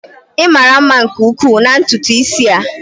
Ị mara mma nke ukwuu na ntutu isi a.